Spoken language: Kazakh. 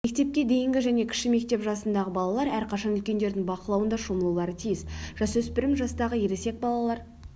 мектепке дейінгі және кіші мектеп жасындағы балалар әрқашан үлкендердің бақылауында шомылулары тиіс жасөсіпір жастағы ересек балалар